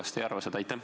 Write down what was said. Kas te ei arva seda?